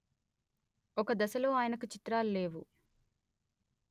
ఒక దశలో ఆయనకి చిత్రాలు లేవు